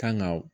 Kan ga